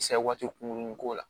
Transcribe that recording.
waati kunkuruni ko la